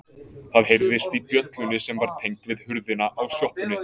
Það heyrðist í bjöllunni sem var tengd við hurðina á sjoppunni.